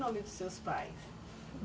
nome dos seus pais?